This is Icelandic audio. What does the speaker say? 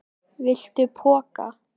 Viltu poka?